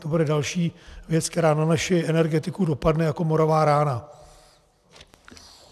To bude další věc, která na naši energetiku dopadne jako morová rána.